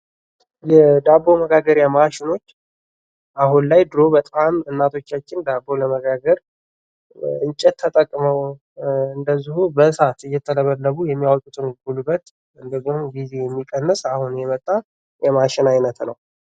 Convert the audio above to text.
የዳቦ መጋገሪያ ማሽኖች አሁን ላይ ድሮ በጣም እናቶቻችን ዳቦ ለመጋገር እንጨት ተጠቅመው እንደዚሁ በሳት እየተለበለቡ የሚያወጡትን ጉልበት እንዲሁም ደግሞ ጊዜን የሚቀንስ አሁን የመጣ የማሽን አይነት ነው ::